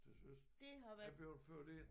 Til søs er bleven ført ind